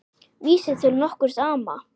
Vísi til nokkurs ama.